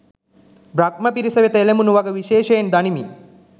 බ්‍රහ්ම පිරිස වෙත එළඹුණු වග විශේෂයෙන් දනිමි.